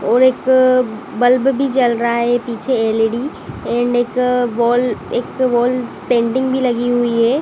और एक बल्ब भी जल रहा है पीछे एल_ई _डी एंड एक वॉल एक वॉल पेंटिंग भी लगी हुई है।